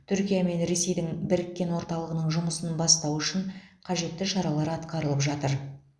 түркия мен ресейдің біріккен орталығының жұмысын бастау үшін қажетті шаралар атқарылып жатыр